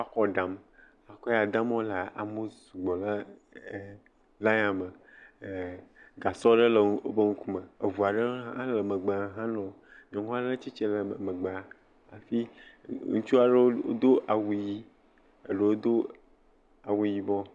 Woakɔ dam. Ekɔ ya dam wolea, amewo sugbɔ ɖe line na me. E gasɔ aɖe le wòƒe ŋkume. Eʋua aɖe hã nu megbe he lolo, nyɔnua ɖe tsitre ɖe megbea, hafi ŋutsua ɖewo do awu ɣi, eɖewo do awu yina.